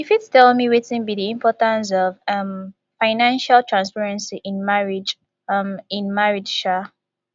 you fit tell me wetin be di importance of um financial transparency in marriage um in marriage um